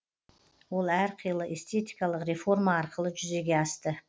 ол әр қилы эстетикалық реформа арқылы жүзеге асты